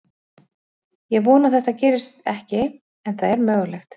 Ég vona að þetta gerist ekki en það er mögulegt.